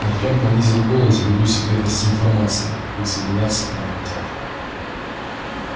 артем понизил голос ввиду секретности информации присоединяться к нам хотят